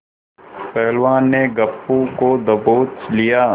पहलवान ने गप्पू को दबोच लिया